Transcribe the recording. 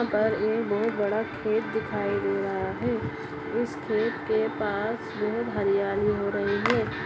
यहाँ पर एक बहोत बड़ा खेत दिखाई दे रहा है उस खेत के पास बहोत हरियाली हो रही है।